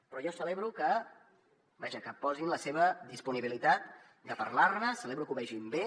però jo celebro vaja que posin la seva disponibilitat de parlar ne celebro que ho vegin bé